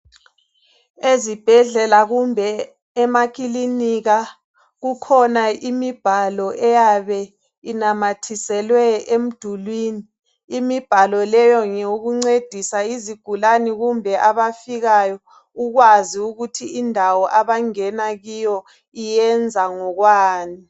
Ezibhedlela kumbe emakilinika kukhona imibhalo eyabe inamathiselwe emdulwini. Imibhalo leyo ngeyokuncedisa izigulane kumbe abafikayo ukwazi ukuthi indawo abangena kiyo iyenza ngokwani.